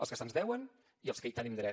els que se’ns deuen i els que hi tenim dret